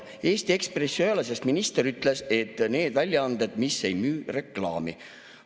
Eesti Ekspress see ju ei ole, sest minister ütles, et need väljaanded, mis ei müü reklaami.